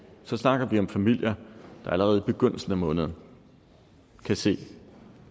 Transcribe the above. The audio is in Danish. så snakker vi om familier der allerede i begyndelsen af måneden kan se